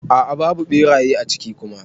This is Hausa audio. A'a babu beraye a ciki Kuma.